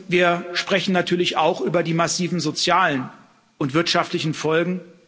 Wir sprechen natürlich auch über die massiven sozialen und wirtschaftlichen Folgen.